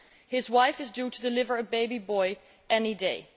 His wife is due to deliver a baby boy any day.